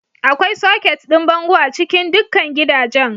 Akwai soket ɗin bango a cikin dukkan gidajen.